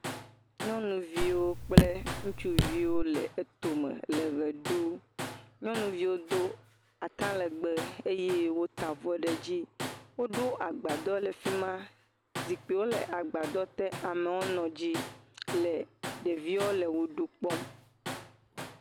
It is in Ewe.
Nyɔnuviwo kple ŋutsuviwo le etome le ʋe ɖum. Nyɔnuviwo do atalɛgbɛ eye wota avɔ ɖe edzi. Woɖo agbadɔ le fi ma. Zikpiwo le agbadɔte amewo nɔ edzi le ɖeviawo le ʋeɖu kpɔm.